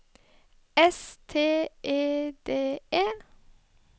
S T E D E